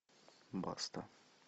баста